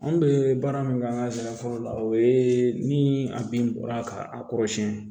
Anw bɛ baara min kɛ an ka sɛnɛ fɔlɔ la o ye ni a bin bɔra ka kɔrɔsiyɛn